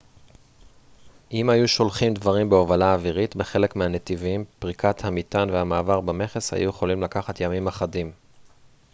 אם הם היו שולחים דברים בהובלה אווירית בחלק מהנתיבים פריקת המטען והמעבר במכס היו יכולים לקחת ימים אחדים